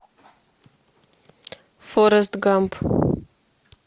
форрест гамп